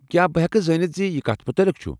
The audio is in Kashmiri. کیٚا بہٕ ہیٚکہ زٲنِتھ زِ یہ کتھ متعلِق چھُ؟